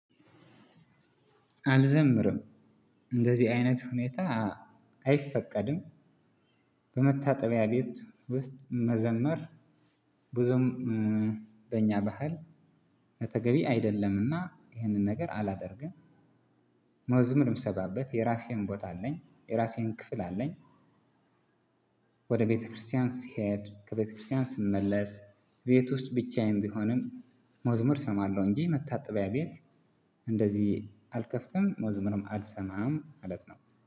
አልዘምርም እንደዚህ አይነት ሁኔታ አይፈቀድም። በመታጠቢያ ቤት ውስጥ መዘመር። ብዙም በእኛ ባህል በተገቢ አይደለምና ይህንን ነገር አላደርግም። መዝሙር የምሰማበት የራሴ ቦታ አለኝ የራሴ ክፍል አለኝ። ወደ ቤተክርስቲያን ስሄድ ከቤተክርስቲያን ስመለስ ቤት ውስጥ ብቻዬን ቢሆንም መዝሙር እሰማለሁ። እንጂ መታጠቢያ ቤት እንደዚህ አልከፍትም መዝሙርም አልሰማም ማለት ነው